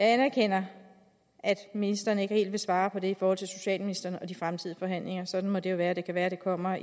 anerkender at ministeren ikke helt vil svare på det i forhold til socialministeren og de fremtidige forhandlinger sådan må det jo være det kan være at det kommer